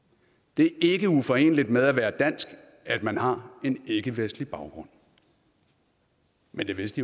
det er ikke uforeneligt med at være dansk at man har en ikkevestlig baggrund men det vidste